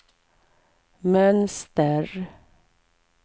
mönster